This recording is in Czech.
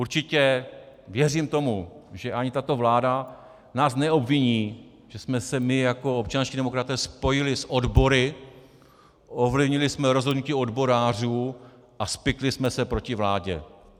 Určitě věřím tomu, že ani tato vláda nás neobviní, že jsme se my jako občanští demokraté spojili s odbory, ovlivnili jsme rozhodnutí odborářů a spikli jsme se proti vládě.